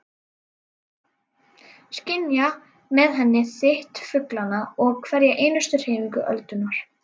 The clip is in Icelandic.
Skynja með henni þyt fuglanna og hverja einustu hreyfingu öldunnar.